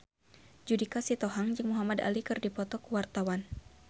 Judika Sitohang jeung Muhamad Ali keur dipoto ku wartawan